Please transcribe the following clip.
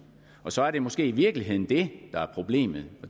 og så er det måske i virkeligheden det der er problemet